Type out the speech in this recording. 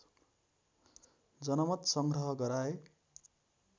जनमत सङ्ग्रह गराए